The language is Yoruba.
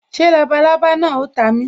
Ṣé labalábá náà o ta mi